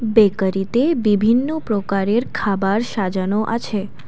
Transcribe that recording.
বেকারিতে বিভিন্ন প্রকারের খাবার সাজানো আছে।